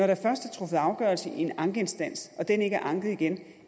der først er truffet afgørelse i en ankeinstans og den ikke er anket igen